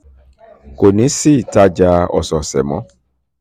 kò ní sí ìtajà ọ̀sọ̀ọ̀sẹ̀ mọ́